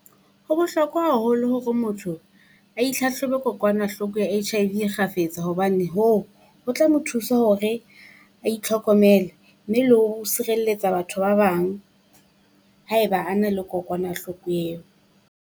Ho bohlokwa haholo hore motho a itlhatlhobe kokwanahloko ya H_I_V e kgafetsa hobane hoo, ho tla mo thusa hore a itlhokomele mme le hore o sirelletsa batho ba bang haeba a na le kokwanahloko eo.